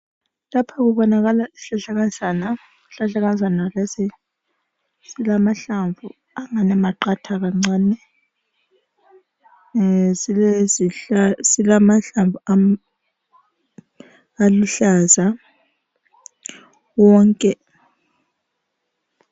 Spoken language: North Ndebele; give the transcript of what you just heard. Lapha kubonakala isihlahlakazana, isihlahlakazana lesi silamahlamvu angani maqatha kancane silamahlamvu aluhlaza wonke.